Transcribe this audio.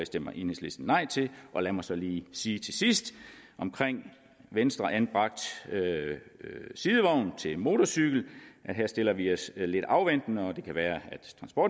stemmer enhedslisten nej til lad mig så lige sige til sidst om venstreanbragt sidevogn til motorcykel at her stiller vi os lidt afventende det er det kan være